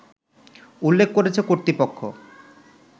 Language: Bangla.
উল্লেখ করেছে কর্তৃপক্ষ